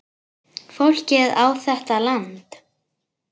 Fólkið á þetta land.